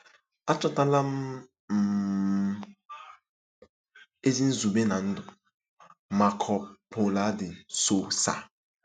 “Achọtala m um ezi nzube ná ndụ.”—MARCO PAULO DE SOUSA